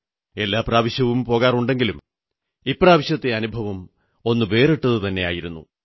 എല്ലാ പ്രാവശ്യവും പോകാറുണ്ടെങ്കിലും ഇപ്രാവശ്യത്തെ അനുഭവം ഒന്നു വേറിട്ടതു തന്നെയായിരുന്നു